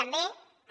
també